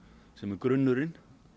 sem er grunnurinn